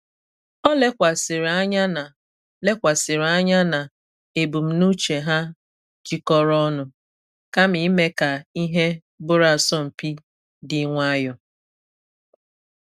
O lekwasịrị anya na lekwasịrị anya na ebumnuche ha jikọrọ ọnụ kama ime ka ihe bụrụ asọmpi di nwayọ.